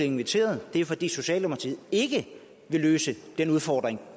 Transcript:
inviteret det er fordi socialdemokratiet ikke vil løse den udfordring